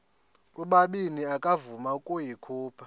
ubabini akavuma ukuyikhupha